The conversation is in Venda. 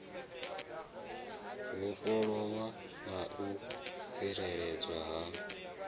vhofholowa na u tsireledzea ha